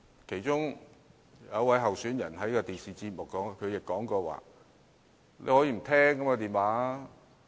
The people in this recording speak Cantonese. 其中一位候選人曾在電視節目中表示，大家大可以不接聽這類電話。